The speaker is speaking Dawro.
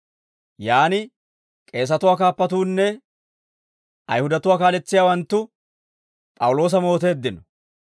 Yaan k'eesatuwaa kaappatuunne Ayihudatuwaa kaaletsiyaawanttu P'awuloosa mooteeddino.